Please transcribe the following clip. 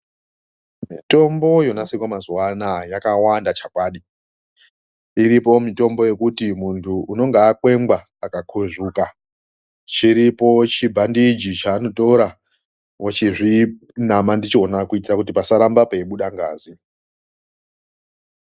Mitombo yonasirwa mazuwa anaya yakawanda chakwadi. Iripo mitombo yekuti muntu anenga akwengwa akakuzvuka chiripo chibhandiji chaanotora ochizvinama ndichona kuitira kuti pasaramba peibuda ngazi.